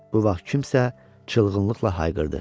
Bu vaxt kimsə çılğınlıqla hayqırdı.